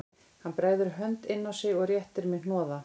Hann bregður hönd inn á sig og réttir mér hnoða